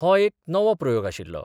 हो एक नवो प्रयोग आशिल्लो.